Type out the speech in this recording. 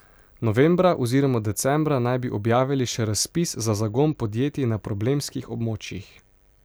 Novembra oziroma decembra naj bi objavili še razpis za zagon podjetij na problemskih območjih.